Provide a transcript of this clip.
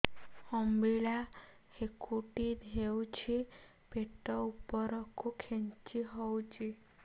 ଅମ୍ବିଳା ହେକୁଟୀ ହେଉଛି ପେଟ ଉପରକୁ ଖେଞ୍ଚି ହଉଚି